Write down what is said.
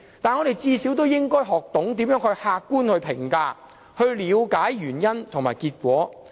但是，我們最少應該學懂如何客觀評價，了解原因和結果。